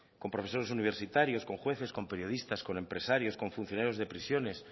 con profesores universitarios con jueces con periodistas con empresarios con funcionarios de prisiones